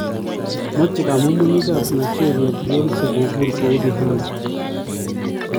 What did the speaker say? mache kamumunyigap Nigeria Beyonce kobur kou Rihanna